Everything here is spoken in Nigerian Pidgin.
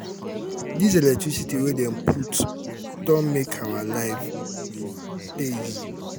dis electricity wey dem put don um make our life dey easy. um